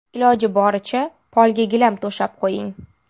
Iloji boricha polga gilam to‘shab qo‘ying.